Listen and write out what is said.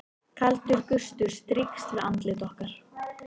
Kaldur gustur strýkst við andlit okkar.